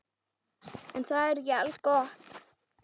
En það er ekki algott.